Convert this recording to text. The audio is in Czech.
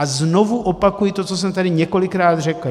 A znovu opakuji to, co jsem tady několikrát řekl.